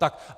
Tak.